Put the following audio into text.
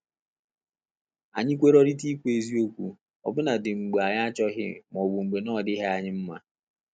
Anyị kwerorita ikwu eziokwu, ọ bụladi mgbe anyị achọghị ma ọbụ mgbe na ọ dịghị anyị mma